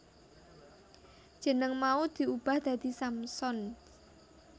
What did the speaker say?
Jeneng mau diubah dadi Samsons